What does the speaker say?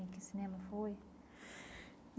Em que cinema foi?